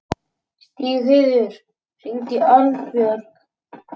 Stígheiður, hringdu í Arnbjörn.